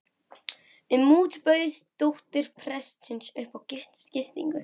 um út bauð dóttir prestsins upp á gistingu.